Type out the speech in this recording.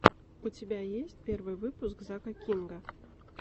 у тебя есть первый выпуск зака кинга